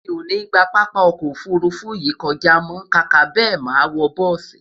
mí o ní gbà pápá ọkọ òfurufú yìí kọjá mọ, kàkà bẹ, má wò bùsi